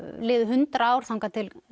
liðu hundrað ár þangað til